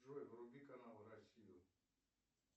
джой вруби канал россию